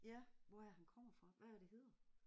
Ja. Hvor er det han kommer fra? Hvad er det hedder?